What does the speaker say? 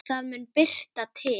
Það mun birta til.